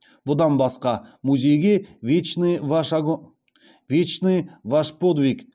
бұдан басқа музейге вечный ваш подвиг